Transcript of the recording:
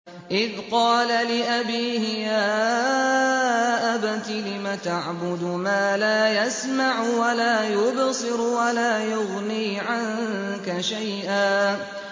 إِذْ قَالَ لِأَبِيهِ يَا أَبَتِ لِمَ تَعْبُدُ مَا لَا يَسْمَعُ وَلَا يُبْصِرُ وَلَا يُغْنِي عَنكَ شَيْئًا